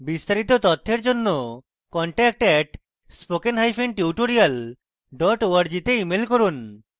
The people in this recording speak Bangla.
বিস্তারিত তথ্যের জন্য contact @spokentutorial org তে ইমেল করুন